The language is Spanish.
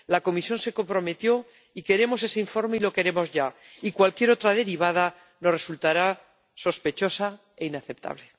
La Comisión se comprometió y queremos ese informe y lo queremos ya, y cualquier otra derivada nos resultará sospechosa e inaceptable.